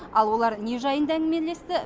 ал олар не жайында әңгімелесті